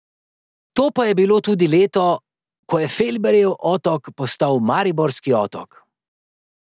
To pa je bilo tudi leto, ko je Felberjev otok postal Mariborski otok.